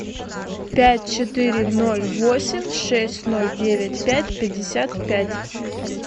пять четыре ноль восемь шесть ноль девять пять пятьдесят пять